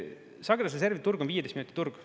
Sagedusreservi turg on 15 minuti turg.